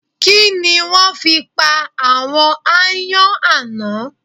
Kí ni wọ́n fi pa àwọn aáyán àná?